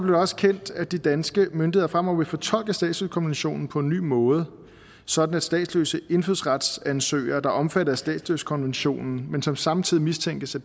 det også kendt at de danske myndigheder fremover vil fortolke statsløsekonventionen på en ny måde sådan at statsløse indfødsretsansøgere der er omfattet af statsløsekonventionen men som samtidig mistænkes af